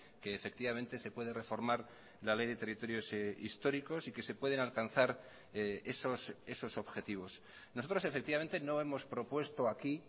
que efectivamente se puede reformar la ley de territorios históricos y que se pueden alcanzar esos objetivos nosotros efectivamente no hemos propuesto aquí